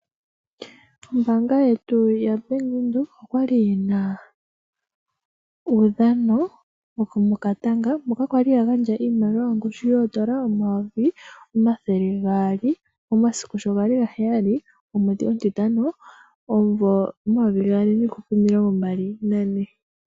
Ombaanga yetu ya bank windhek okwali yina uudhano wokotanga , hoka kwa ga ndjwa iimaliwa yongushu shoondola omayovi omathele gaali, omasiku shogali ga heyali omwedhi omutitano omuvo omayovi gaali niihupe omilongo mbali na ne.